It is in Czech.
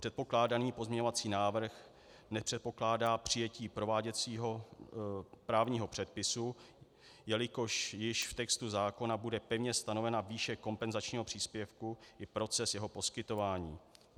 Předpokládaný pozměňovací návrh nepředpokládá přijetí prováděcího právního předpisu, jelikož již v textu zákona bude pevně stanovena výše kompenzačního příspěvku i proces jeho poskytování.